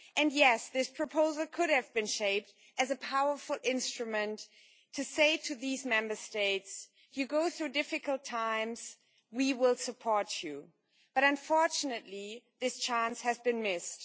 Yes, this proposal could have been shaped as a powerful instrument to say to these Member States you go through difficult times and we will support you. Unfortunately, this chance has been missed.